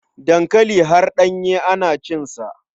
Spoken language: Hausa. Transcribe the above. Dankali har ɗanye ana cinsa.